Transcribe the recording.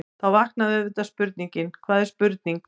Þá vaknar auðvitað spurningin: hvað er spurning?.